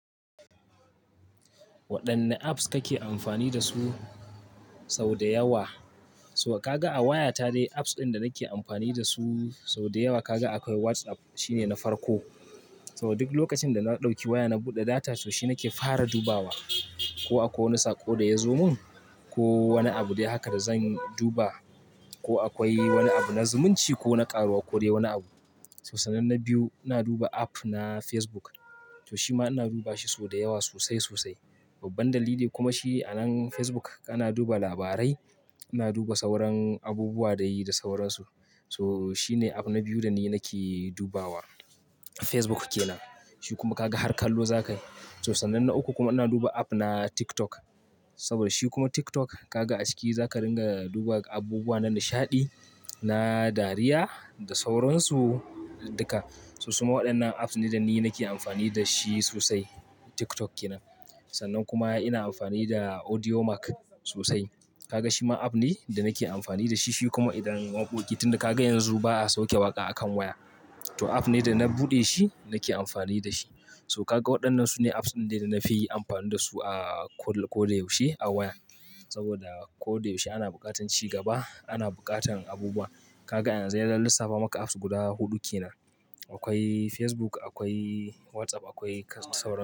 Waɗanne apps kake amfani dasu sau da yawa? So Kaga a wayata dai apps ɗin da nake amfani dasu sau da yawa kaga akwai WhatsApp shine na farko. Saboda duk lokacin da na ɗauki waya na buɗe data shi nake fara dubawa. Ko akwai wani saƙo da ya zo mun ko wani abu dai haka da zan duba ko akwai wani abu na zumunci ko na ƙaruwa ko dai wani abu. So sannan na biyu ina duba app na Facebook. To shima ina duba shi sau da yawa sosai sosai. Babbar dalili kuma shi a nan Facebook kana duba labarai, ina duba sauran abubuwa da yayi da sauransu. So shine app na biyu da ni nake dubawa. Facebook kenan. Shi kuma kaga harkallo zakayi. To sannan na uku kuma ina duba app na TikTok. Saboda shi kuma TikTok kaga a ciki zaka ringa duba abubuwa na nishaɗi, na dariya da sauransu duka. So su ma waɗannan apps ne da ni nake amfani dashi sosai. TikTok kenan. Sannan kuma ina amfani da Audiomack sosai. Kaga shima app ne da nake amfani da shi. Shi kuma idan waƙoƙi tun da kaga yanzu ba a sauke waƙa a kan waya. To app ne da na buɗe shi nake amfani da shi. So kaga waɗannan su ne apps ɗin da na fi amfani dasu a ko da, ko da yaushe a waya. Saboda ko da yaushe ana buƙatar ci gaba, ana buƙatar abubuwa. Kaga yanzu idan lissafa maka apps guda huɗu kenan. Akwai Facebook, akwai WhatsApp, akwai kas sauransu.